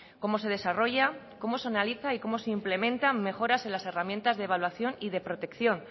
cómo se desarrolla cómo se analiza y cómo se implementan mejoras en las herramientas de evaluación y de protección